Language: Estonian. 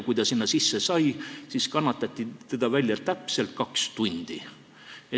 Kui ta sinna sisse sai, siis kannatati teda välja täpselt kaks tundi.